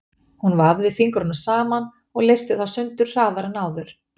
Hún vafði fingrunum saman og leysti þá sundur hraðar en áður.